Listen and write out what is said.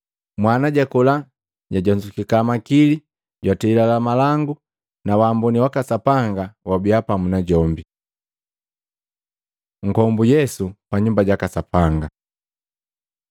Mwana jakola, jajonzukeka makili, jatwelila malangu na waamboni waka Sapanga wabia pamu najombi. Nkombu Yesu pa Nyumba jaka Sapanga